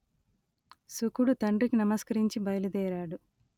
శుకుడు తండ్రికి నమస్కరించి బయలుదేరాడు